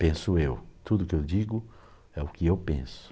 Penso eu, tudo que eu digo é o que eu penso.